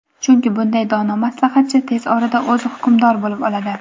chunki bunday dono maslahatchi tez orada o‘zi hukmdor bo‘lib oladi.